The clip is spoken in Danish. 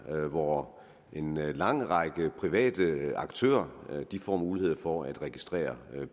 hvor en lang række private aktører får mulighed for at registrere